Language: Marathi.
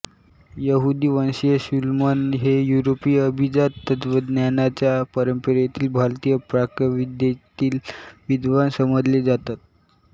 यहूदी वंशीय शूलमन हे युरोपीय अभिजात तत्त्वज्ञानाच्या परंपरेतील भारतीय प्राच्यविद्येतील विद्वान समजले जातात